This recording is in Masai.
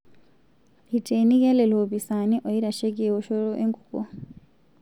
Eitenikia lelo opisaani oitasheki eoshoto enkukuo